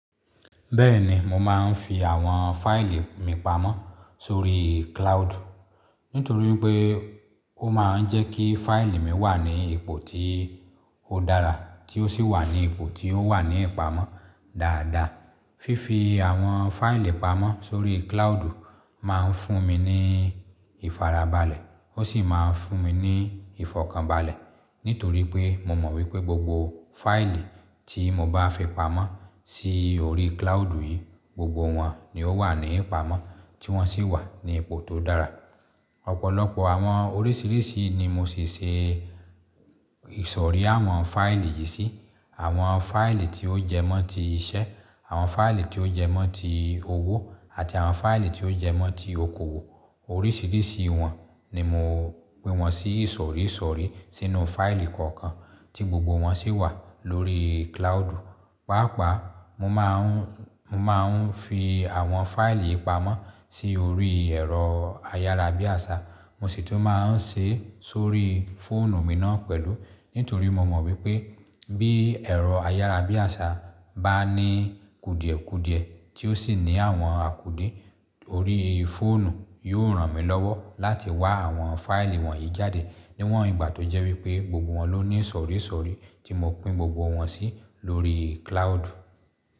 Bẹ́ẹ̀ni mo máa ń fi àwọn fáìlì mi pamọ́ sórí cloud. Nítorí pé ó máa ń jẹ́ kí fáìlì mi wà ní ipò tí ó dára tí ó sì wà ní ipò tí ó wà ní ìpamọ́ dáadáa. Fífi àwọn fáìlì pamọ́ sórí cloud máa ń fún mi ní ìfarabalẹ̀. Ó sì máa ń fún mi ní ìfọ̀kànbalẹ̀. Nítorí pé mo mọ̀ wípé gbogbo fáìlì tí mo bá fi pamọ́ sí orí cloud yìí gbogbo wọn ni ó wà ní ìpamọ́ tí wọ́n sì wà ní ipò tó dára. Ọ̀pọ̀lọpọ̀ àwọn oríṣìíríṣìí ni mo sì ṣe ìsọ̀rí àwọn fáìlì yìí sí. Àwọn fáìlì tí ó jẹ́ mọ́ tí iṣẹ́, àwọn fáìlì tí ó jẹ́ mọ́ ti owó àti àwọn fáìlì tí ó jẹ́ mọ́ ti okoòwò. Oríṣìíríṣìí wọn ni mo pín wọn sí ìsọ̀rí ìsọ̀rí sínú fáìlì kọ̀ọ̀kan tí gbogbo wọn sì wà lórí cloud. Pàápàá mo máa ń, mo máa ń fi àwọn fáìlì yìí pamọ́ sí orí ẹ̀rọ ayára bí àṣá. Mo sì tún máa ń ṣe sórí fóònù mi náà pẹ̀lú. Nítorí mo mọ̀ wípé bí ẹ̀rọ ayára bí àṣá bá ní kudiẹ̀kudiẹ̀ tí ó sì ní àwọn àkúde orí fóònù yó ràn mí lọ́wọ́ láti wá àwọn fáìlì wọ̀nyí jáde níwọ̀n ìgbà tó jẹ́ wípé gbogbo wọn ló ní ìsọ̀rí ìsọ̀rí tí mo pín gbogbo wọn sí lórí cloud.